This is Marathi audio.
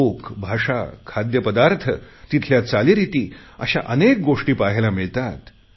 लोक भाषा खाद्यपदार्थ तिथल्या चालीरिती अशा अनेक गोष्टी पहायला मिळतात